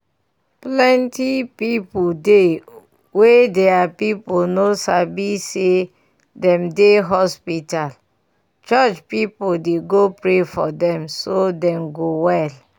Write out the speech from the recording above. plenty pipu dey wey deir people no sabi say dem dey hospital church pipu dey go pray for dem so dem go well.